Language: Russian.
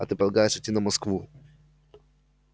а ты полагаешь идти на москву